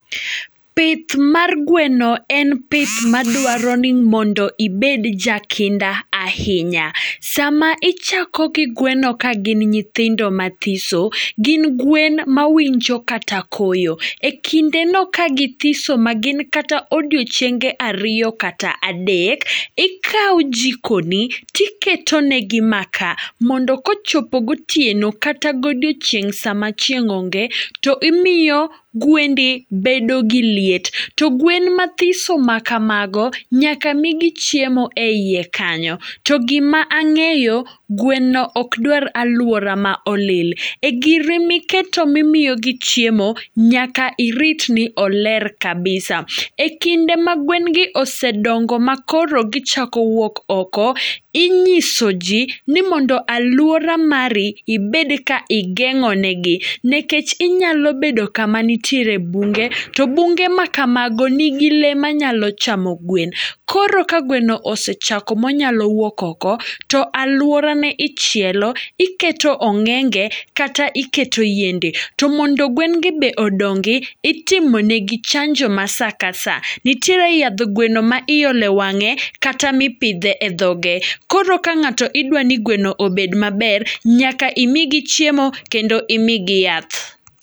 Pith mar gweno en pith madwaro ni mondo ibed jakinda ahinya. Sama ichako gi gweno ka gin nyithindo mathiso, gin gwen ma winjo kata koyo. E kinde no ka githiso ma gin kata odiochienge ariyo kata adek, ikawo jiko ni tiketonegi maka. Mondo kochopo gotieno kata godiochieng' sama chieng' onge, to imiyo gwendi bedo gi liet. To gwen mathiso ma kamago, nyaka migi chiemo e iye kanyo. To gima ang'eyo, gweno ok dwar alwora ma olil. E giri miketo mimiyogi chiemo, nyaka irit ni oler kabisa. E kinde ma gwen gi ose dongo ma koro gichako wuok oko, inyiso ji ni mondo alwora mari ibed ka igeng'o negi. Nekech inyalo bedo kama nitiere bunge, to bunge ma kamago nigi le manyalo chamo gwen. Koro ka gweno osechako monyalo wuok oko, to alwora ne ichielo, iketo ong'enge kata iketo yiende. To mondo gwen gi be odongi, itimo negi chanjo ma sa ka sa. Nitiere yadh gweno ma iolo e wang'e, kata mipidhe e dhoge. Koro ka ng'ato idwani gweno obed maber, nyaka imigi chiemo kendo imigi yath.